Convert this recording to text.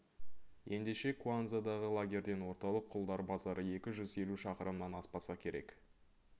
ендеше куанзадағы лагерден орталық құлдар базары екі жүз елу шақырымнан аспаса керек